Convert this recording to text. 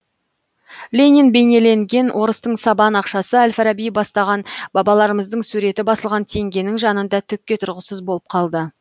ленин бейнеленген орыстың сабан ақшасы әл фараби бастаған бабаларымыздың суреті басылған теңгенің жанында түкке тұрғысыз болып қалды